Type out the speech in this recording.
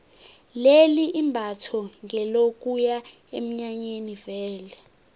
leli imbatho ngelokuya eminyanyeni vele